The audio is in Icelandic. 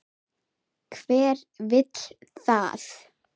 Hver vill það?